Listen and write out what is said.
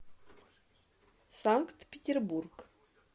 санкт петербург